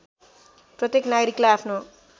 प्रत्येक नागरिकलाई आफ्नो